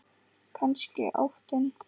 Kannski óttinn.